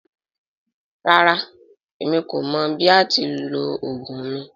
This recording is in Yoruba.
Rara, emi ko mọ bi a ti ni lo ogun mi.